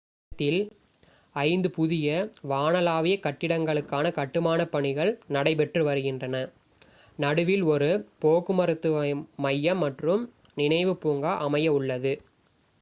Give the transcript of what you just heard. இந்த இடத்தில் ஐந்து புதிய வானளாவிய கட்டிடங்களுக்கான கட்டுமானப் பணிகள் நடைபெற்று வருகின்றன நடுவில் ஒரு போக்குவரத்து மையம் மற்றும் நினைவு பூங்கா அமைய உள்ளது